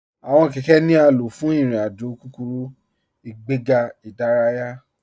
Awọn kẹkẹ̀ ni a ló fún irin-àjò kúkúrú, ìgbẹ̀gà idáràyà.